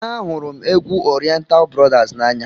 Ahụrụ m égwu oriental brothers n'anya.